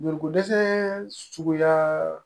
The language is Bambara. Joliko dɛsɛ suguya